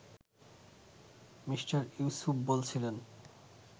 Mr Yusuf বলছিলেন